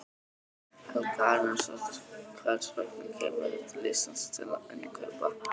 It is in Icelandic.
Helga Arnardóttir: Hvers vegna kemurðu til Íslands til innkaupa?